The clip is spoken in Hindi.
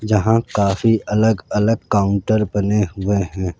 जहां काफी अलग अलग काउंटर बने हुए हैं।